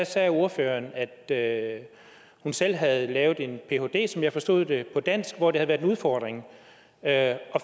sagde ordføreren at hun selv havde lavet en phd som jeg forstod det på dansk hvor det havde været en udfordring at